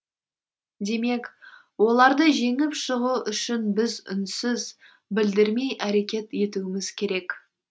демек оларды жеңіп шығу үшін біз үнсіз білдірмей әрекет етуіміз керек